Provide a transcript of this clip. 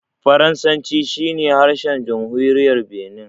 Faransanci shi ne harshen jamhuriyar Binin.